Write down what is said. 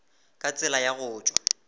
ka tsela ya go tšwa